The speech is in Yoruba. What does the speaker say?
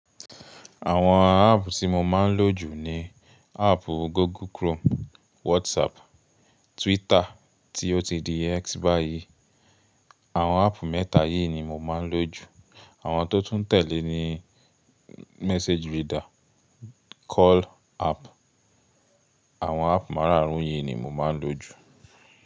Àwọn app tí mo máa ń lò jù ni appu Google Chrome, WhatsApp, Twitter tí ó ti di X báyìí. Àwọn app mẹ́ta yìí ni mo máa ń lò jù. Àwọn tó tún tẹ̀lé ni Message Reader, Call app. Àwọn app máràrún yìí ni mo máa ń lò jù.